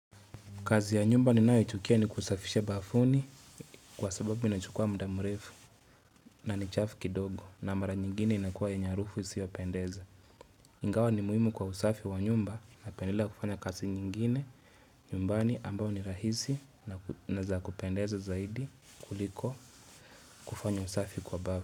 Kazi ya nyumba ninayoichukia ni kusafisha bafuni kwa sababu inachukua muda mrefu na ni chafu kidogo na mara nyingine inakuwa yenye harufu isiyopendeza. Ingawa ni muhimu kwa usafi wa nyumba napendelea kufanya kazi nyingine nyumbani ambao ni rahisi na za kupendeza zaidi kuliko kufanya usafi kwa bafu.